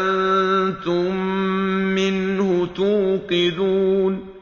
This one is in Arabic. أَنتُم مِّنْهُ تُوقِدُونَ